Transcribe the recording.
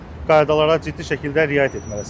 qaydalara ciddi şəkildə riayət etməlisiniz.